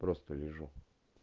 просто лежу